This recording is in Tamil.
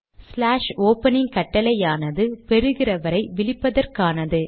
ஸ்லாஷ் ஓப்பனிங் கட்டளையானது பெறுகிறவரை விளிப்பதற்கானது